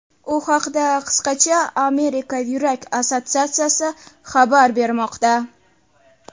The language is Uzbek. U haqda qisqacha Amerika yurak assotsiatsiyasi xabar bermoqda .